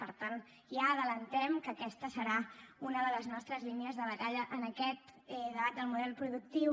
per tant ja avancem que aquesta serà una de les nostres línies de batalla en aquest debat del model productiu